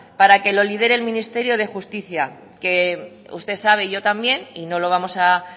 para que los lidere el ministerio de justicia que usted sabe y yo también y no lo vamos a